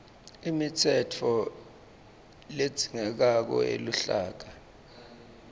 imitsetfo ledzingekako yeluhlaka